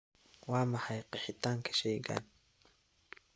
waa maxay qeexitaanka shaygan